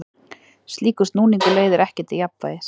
Slíkur snúningur leiðir ekki til jafnvægis.